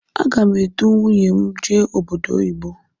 Agá m edu nwunye m jee obodo oyibo.